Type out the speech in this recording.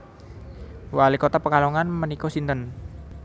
Wali kota Pekalongan menika sinten